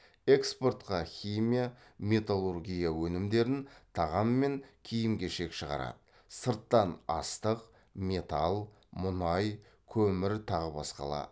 экспортқа химия металлургия өнімдерін тағамдар мен киім кешек шығарады сырттан астық металл мұнай көмір тағы басқалар